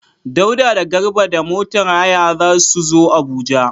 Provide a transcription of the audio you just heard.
Dauda da Garba da motar haya za su zo Abuja.